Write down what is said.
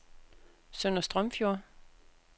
Sønder Strømfjord